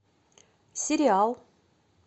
сериал